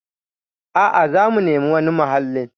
A'a, zamu nemi wani mahallin.